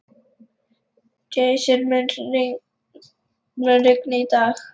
Jason, mun rigna í dag?